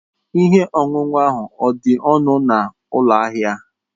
Ihe ọṅụṅụ ahụ ọ̀ dị ọnụ n'ụlọ ahịa?